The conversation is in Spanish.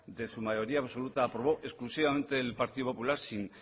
de su mayoría absoluta aprobó exclusivamente el partido popular sin